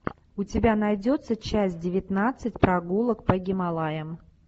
у тебя найдется часть девятнадцать прогулок по гималаям